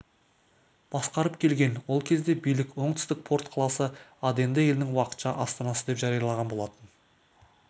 басқарып келген ол кезде билік оңтүстік порт қаласы аденді елдің уақытша астанасы деп жариялаған болатын